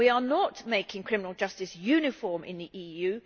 We are not making criminal justice uniform in the EU.